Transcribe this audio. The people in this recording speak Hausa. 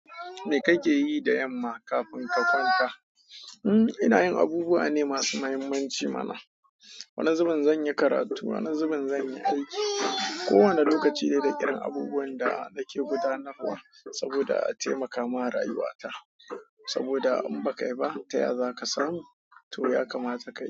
Me kake yi da yamma kafin ka kwanta? Hmm, ina yin abubuwa ne masu muhimmanci mana. Wani zubin zan yi karatu, wani zubin zan yi aiki. Ko wane lokaci ne da irin abubuwan da nake gudanarwa saboda a taimaka ma rayuwa ta. Saboda in ba ka yi ba, taya za ka samu? To ya kamata ka yi.